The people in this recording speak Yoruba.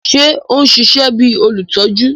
Ṣe o n ṣiṣẹ bi olutọju?